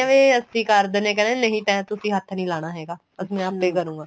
ਵੀ ਅਸੀਂ ਕਰ ਦਿਨੇ ਆ ਕਹਿੰਦੇ ਨਹੀਂ ਤੇ ਤੁਸੀਂ ਹੱਥ ਨੀਂ ਲਗਾਣਾ ਹੈਗਾ ਮੈਂ ਆਪੇ ਕਰੂਗਾ